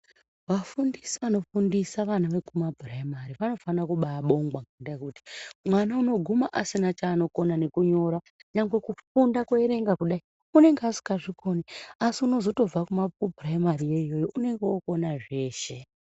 Vafundisi vanofundisa vana vekumaprayimari, vanofanira kubabongwa, ngendaha yekuti, mwana unoguma asina chanokona nekunyora, nyangwe kufunda kuyerenga kudayi, unenge asingazvikoni, asi unozotobvako kumaprayimari yoyoyo, unenge okona zveshe.